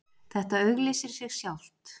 Þetta auglýsir sig sjálft